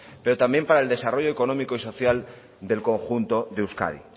pero también para el desarrollo económico y social del conjunto de euskadi